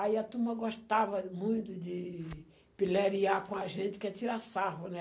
Aí a turma gostava muito de piléria com a gente, que é tirar sarro, né?